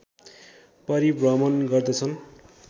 परिभ्रमण गर्दछन्